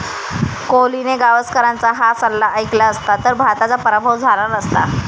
कोहलीने गावस्करांचा 'हा' सल्ला ऐकला असता तर भारताचा पराभव झाला नसता